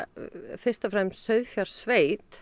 fyrst og fremst